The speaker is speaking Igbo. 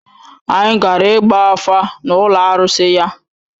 Anyị gara ịgba afa n’ụlọ arụsị ya.